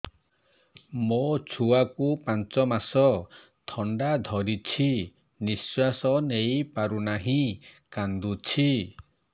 ମୋ ଛୁଆକୁ ପାଞ୍ଚ ମାସ ଥଣ୍ଡା ଧରିଛି ନିଶ୍ୱାସ ନେଇ ପାରୁ ନାହିଁ କାଂଦୁଛି